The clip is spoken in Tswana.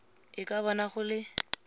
e ka bona go le